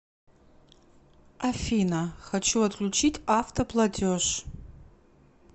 афина хочу отключить авто платеж